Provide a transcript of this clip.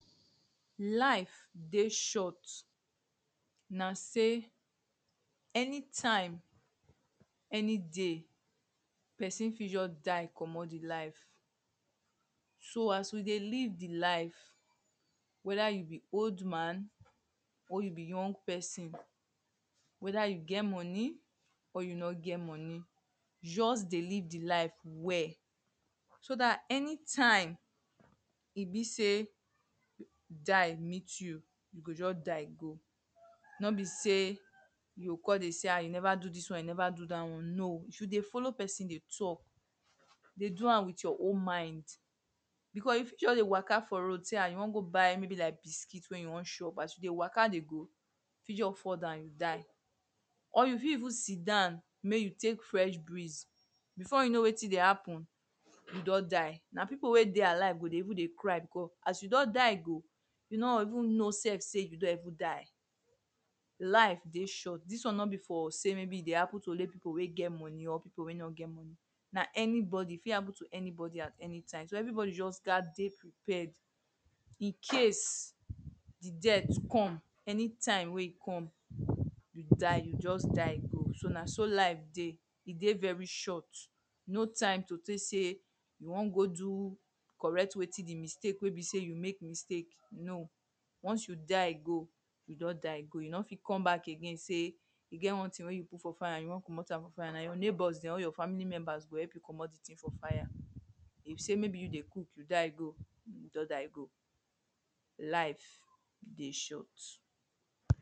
Life dey short na sey anytime anyday person fit just die comot the life. So as we dey live the life whether you be old man or you be young person. Whether you get money or you no get money just dey live the life well. So dat anytime e be sey die meet you, you go just die go. No be sey you o con dey say ha! you never do dis one, you never do dat one, No. If you dey follow person dey talk dey do am with your own mind because you fit just dey waka for road say ah you wan go buy maybe like biscuit wey you wan chop. As you dey waka dey go you fit just fall down. Or you fit even sit down make you take fresh breeze before you know wetin dey happen you don die. Na people wey dey alive go even dey cry because as you don die go you no go even know self say you don even die. Life dey short. Dis one be for say maybe e dey happen to only people wey get money or people wey no get money. Na anybody, e fit happen to anybody at anytime. So everybody gat dey prepared in case the death come, anytime wey e come, you die. You just die go. So na so life dey. E dey very short. No time to take say you wan go do correct wetin the mistake wey be sey you make mistake, no. Once you die go, you don die go. You no fit come back again say you get one thing wey you put for fire. You wan comot am from fire. Na neighbour dem or your family members go help you comot the thing for fire. If sey maybe you dey cook, you die go. You don die go. Life dey short.